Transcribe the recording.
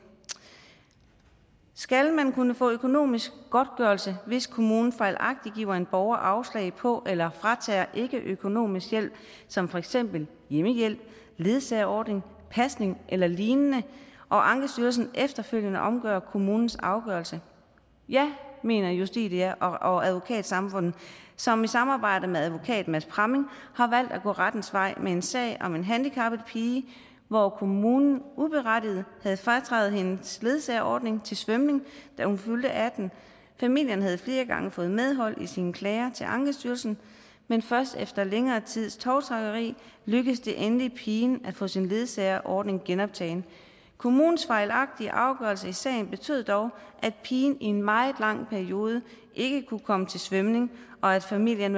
skal man kunne få økonomisk godtgørelse hvis kommunen fejlagtigt giver en borger afslag på eller fratager ikke økonomisk hjælp som for eksempel hjemmehjælp ledsagerordning pasning eller lignende og ankestyrelsen efterfølgende omgør kommunens afgørelse ja mener justitia og advokatsamfundet som i samarbejde med advokat mads pramming har valgt at gå rettens vej med en sag om en handicappet pige hvor kommunen uberettiget havde frataget hendes ledsagerordning til svømning da hun fyldte atten år familien havde flere gange fået medhold i sine klager til ankestyrelsen men først efter længere tids tovtrækkeri lykkedes det endelig pigen at få sin ledsagerordning genoptaget kommunens fejlagtige afgørelser i sagen betød dog at pigen i en meget lang periode ikke kunne komme til svømning og at familien